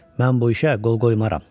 Mən bu işə qol qoymaram.